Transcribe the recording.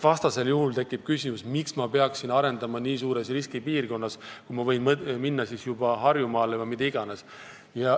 Vastasel juhul tekib küsimus, miks ma peaksin midagi arendama nii suures riskipiirkonnas, kui ma võin minna Harjumaale või mida iganes.